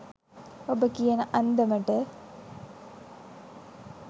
ඔබ කියන අන්දමට